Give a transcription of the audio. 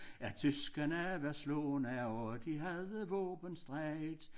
At tyskerne var slagne og de havde våben streget